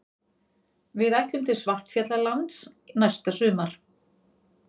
Við ætlum til Svartfjallalands næsta sumar.